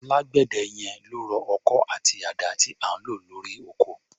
Alágbẹ̀dẹ yẹn ló rọ ọkọ́ àti àdá tí à ń lò lórí oko.